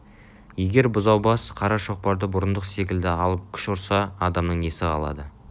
егер бұзау бас қара шоқпарды бұрындық секілді алып күш ұрса адамның несі қалады